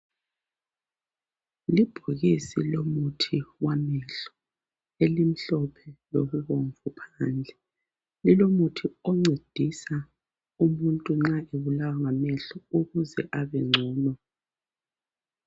Libhokisi womuthi wamehlo elimhlophe lokubomvu phandle lilomuthi oncedisa umuntu nxa ebulawa ngamehlo ukuze abengcono